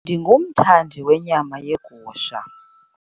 Ndingumthandi wenyama yegusha.